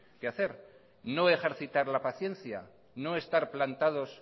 que hacer no ejercitar la paciencia no estar plantados